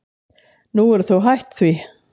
Nú eru þau hætt því.